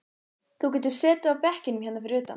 Þú getur setið á bekkjunum hérna fyrir utan.